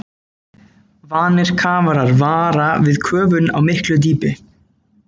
Vanir kafarar vara við köfun á miklu dýpi.